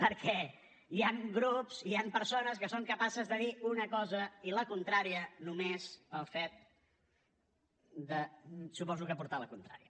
perquè hi han grups hi han persones que són capaces de dir una cosa i la contrària només pel fet de suposo portar la contrària